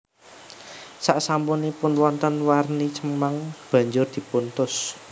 Saksampunipun wonten warni cemeng banjur dipuntus